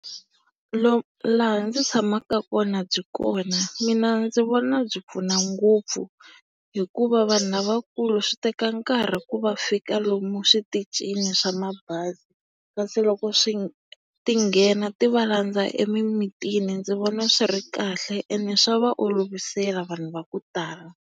laha ndzi tshamaka kona byi kona. Mina ndzi vona byi pfuna ngopfu hikuva vanhu lavakulu switeka nkarhi ku va fika lomu switichini swa mabazi. Kasi loko swi ti nghena ti va landza emimitini ndzi vona swi ri kahle ene swa va olovisela vanhu va ku tala.